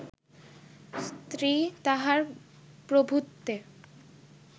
স্ত্রী তাহাঁর প্রভুত্বে